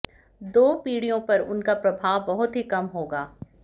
दो पीढ़ियों पर उनका प्रभाव बहुत ही कम होगा